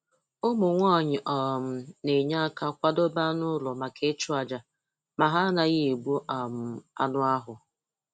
Ụmụ nwanyị um na-enye aka kwadebe anụ ụlọ maka ịchụ àjà ma ha anaghị egbu um anụ ahụ.